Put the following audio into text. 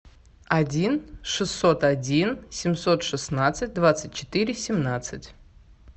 один шестьсот один семьсот шестнадцать двадцать четыре семнадцать